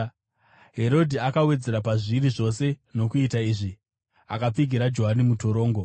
Herodhi akawedzera pazviri zvose nokuita izvi: Akapfigira Johani mutorongo.